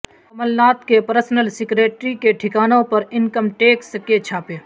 کمل ناتھ کے personal secretary کے ٹھکانوں پر انکم ٹیکس کےچھاپے